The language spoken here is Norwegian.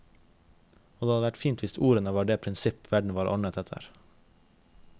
Og det hadde vært fint hvis ordene var det prinsipp verden var ordnet etter.